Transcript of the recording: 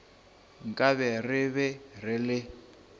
nkabe re be re le